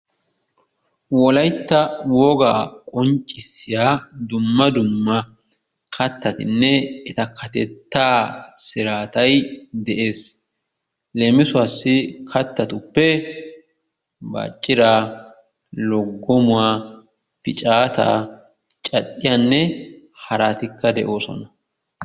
Wolaytta wogaa qonccissiya dumma dumma kattatinne eta kattettaa siraatay de'ees. Leemissuwaassi kattatuppe bacciira, loggommuwa, piccaataa, cadhdhiyanne haratikka de'oosona.